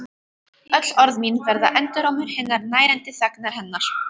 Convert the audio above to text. Öll orð mín verða endurómur hinnar nærandi þagnar hennar.